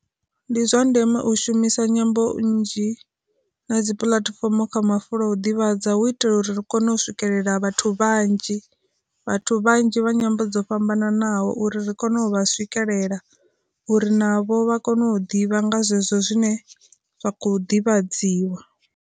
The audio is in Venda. Ndi zwa ndeme u shumisa nyambo nnzhi, na dzi puḽatifomo kha mafulo a u ḓivhadza hu itela uri ri kone u swikelela vhathu vhanzhi, vhathu vhanzhi vha nyambo dzo fhambananaho uri ri kone u vha swikelela, uri navho vha kone u ḓivha nga zwezwo zwine zwa kho ḓivhadziwa.